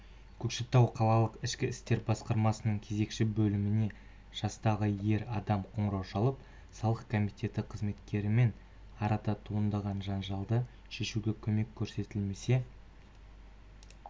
көкшетау қалалық ішкі істер басқармасының кезекші бөліміне жастағы ер адам қоңырау шалып салық комитеті қызметкерлерімен арада туындаған жанжалды шешуге көмек көрсетілмесе